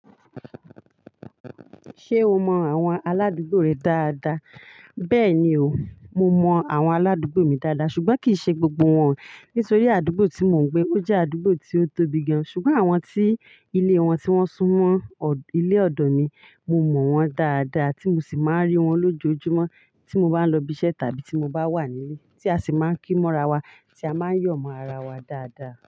Ṣé o mọ àwọn aládùúgbò rẹ dáadáa? Bẹ́ẹ̀ni o, mo mọ àwọn aládùúgbò mi dáadáa ṣùgbọ́n kì í ṣe gbogbo wọ́n, nítorí àdúgbò tí mò ń gbé ó jẹ́ àdúgbò tí ó tóbi gan-an. Ṣùgbọ́n àwọn tí ilé wọn tí wọ́n sún mọ́ ilé ọ̀dọ̀ mi, mo mọ̀ wọ́n dáadáa tí mo sì máa ń rí wọ́n lójoojúmọ́ tí mo bá ń lọ ibiṣẹ́ tàbí tí mo bá wà nílé. Tí a sì máa ń kí mọ́ra wa, tí a máa ń yọ̀ mọ́ ara wa dáadáa.